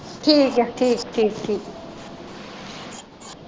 ਠੀਕ ਏ ਠੀਕ ਠੀਕ ਠੀਕ।